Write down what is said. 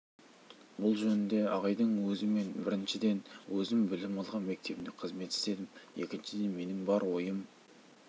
бұл жөнінде ағайдың өзі мен біріншіден өзім білім алған мектебімде қызмет істедім екіншіден менің бар ойым